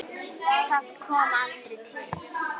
Það kom aldrei til.